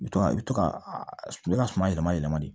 I bi to i bi to ka a bɛ ka suma yɛlɛma yɛlɛma de